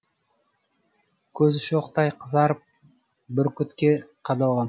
көзі шоқтай қызарып бүркітке қадалған